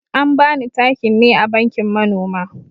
An bani takin ne a bankin manoma.